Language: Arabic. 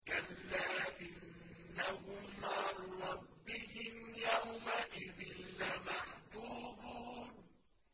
كَلَّا إِنَّهُمْ عَن رَّبِّهِمْ يَوْمَئِذٍ لَّمَحْجُوبُونَ